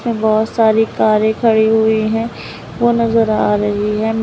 बहोत सारी कारें खड़ी हुई है वो नजर आ रही है।